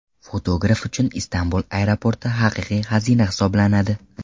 Fotograf uchun Istanbul aeroporti haqiqiy xazina hisoblanadi.